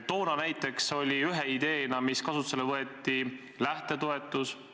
Toona näiteks oli üks ideid, mis kasutusele võeti, lähtetoetus.